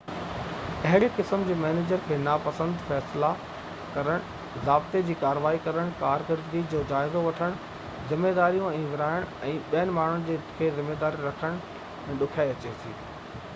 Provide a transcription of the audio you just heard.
اهڙي قسم جي مئنيجر کي ناپسند فيصلا ڪرڻ ضابطي جي ڪاروائي ڪرڻ ڪارڪردگي جو جائزو وٺڻ ذميواريون ورهائڻ ۽ ماڻهن کي ذميوار رکڻ ۾ ڏکيائي اچي ٿي